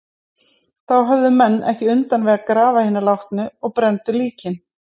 Þá höfðu menn ekki undan við að grafa hina látnu og brenndu líkin.